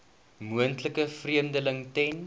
moontlike vervreemding ten